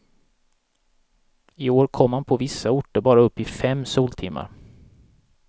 I år kom man på vissa orter bara upp i fem soltimmar.